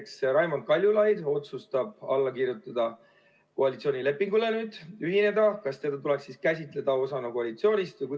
Kui näiteks Raimond Kaljulaid otsustab alla kirjutada koalitsioonilepingule, ühineda, kas teda tuleks siis käsitleda osana koalitsioonist?